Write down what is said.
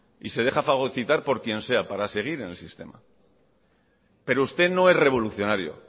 y se deja fagocitar por quien sea para seguir en el sistema pero usted no es revolucionario